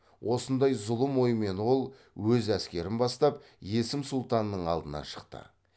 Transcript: осындай зұлым оймен ол өз әскерін бастап есім сұлтанның алдынан шықты